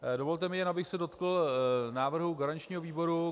Dovolte mi jen, abych se dotkl návrhu garančního výboru.